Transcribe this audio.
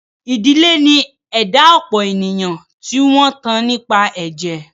Ìdílé ni ẹ̀dá ọ̀pọ̀ ènìyàn tí wọn tán nípa ẹ̀jẹ̀.